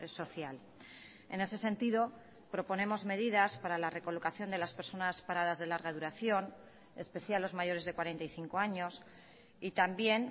social en ese sentido proponemos medidas para la recolocación de las personas paradas de larga duración especial los mayores de cuarenta y cinco años y también